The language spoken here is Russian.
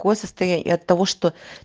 ко состояние и от того что